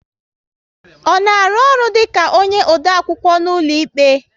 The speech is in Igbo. Ọ na arụ ọrụ dịka onye odeakwụkwọ n'ụlọikpe?